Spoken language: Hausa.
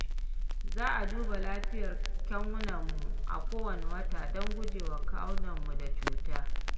Za a duba lafiyar kyanwarmu a kowane wata don guje wa kamuwa da cuta.